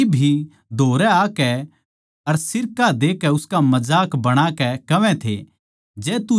सिपाही भी धोरै आकै अर सिरका देकै उसका मजाक बणा के कहवै थे